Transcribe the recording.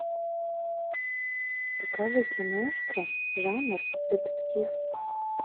покажи киношку жанр детектив